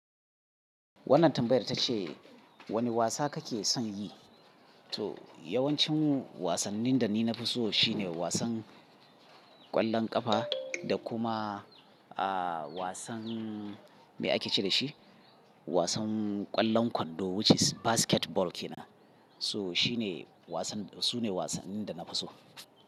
Wannan tambayar ta ce wane wasa kake son yi? To yawancin wasannin da ni na fi so shine wasan ƙwallon ƙafa da kuma, aaa, wasan me ake ce da shi? Wasan ƙwallon kwando which is basketball kenan. So shi ne wasan, su ne wasannin da na fi so.